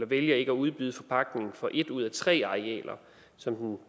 vælger ikke at udbyde forpagtning for et ud af tre arealer som den